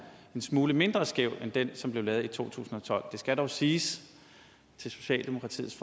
smule mindre skæv end den som blev lavet i to tusind og tolv det skal dog siges til socialdemokratiets